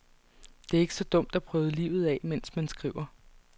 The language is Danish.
Det er ikke så dumt at prøve livet af, mens man skriver.